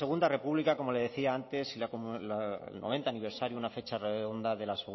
segunda república como le decía antes y el noventa aniversario una fecha redonda de la